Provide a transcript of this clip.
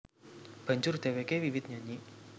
Banjur dhèwêké wiwit nyanyi